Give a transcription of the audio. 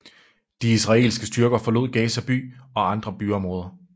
De israelske styrker forlod Gaza By og andre byområder